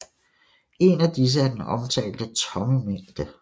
En af disse er den omtalte tomme mængde